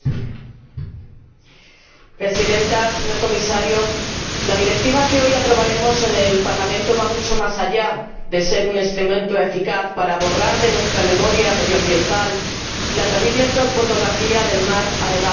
Señora Presidenta señor Comisario, la Directiva que hoy aprobaremos en el Parlamento es mucho más que un instrumento eficaz para borrar de nuestra memoria medioambiental la terrible fotografía del mar anegado por el plástico.